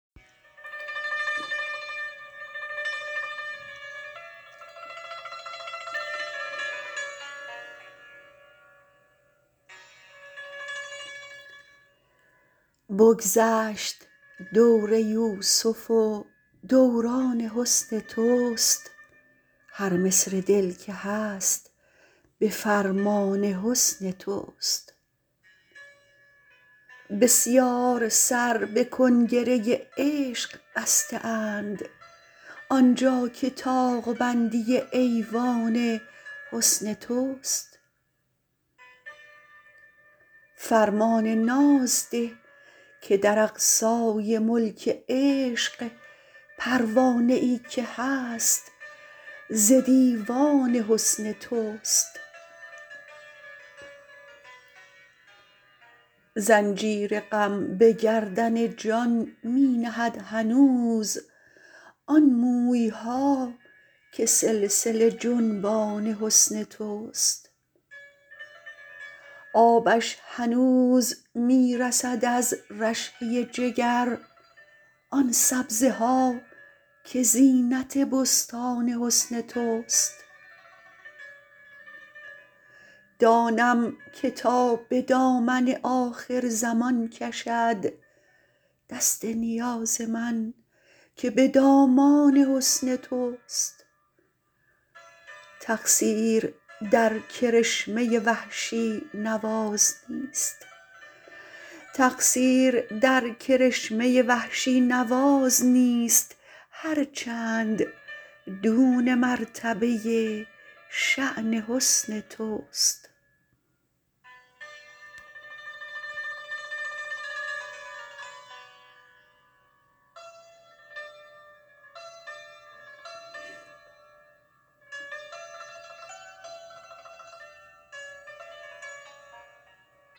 بگذشت دور یوسف و دوران حسن تو ست هر مصر دل که هست به فرمان حسن تو ست بسیار سر به کنگره عشق بسته اند آنجا که طاق بندی ایوان حسن تو ست فرمان ناز ده که در اقصای ملک عشق پروانه ای که هست ز دیوان حسن تو ست زنجیر غم به گردن جان می نهد هنوز آن موی ها که سلسله جنبان حسن تو ست آبش هنوز می رسد از رشحه جگر آن سبزه ها که زینت بستان حسن تو ست دانم که تا به دامن آخرزمان کشد دست نیاز من که به دامان حسن تو ست تقصیر در کرشمه وحشی نواز نیست هرچند دون مرتبه شان حسن تو ست